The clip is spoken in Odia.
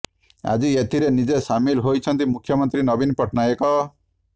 ଆଜି ଏଥିରେ ନିଜେ ସାମିଲ ହୋଇଛନ୍ତି ମୁଖ୍ୟମନ୍ତ୍ରୀ ନବୀନ ପଟ୍ଟନାୟକ